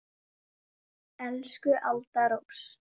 Elsku Alda Rós.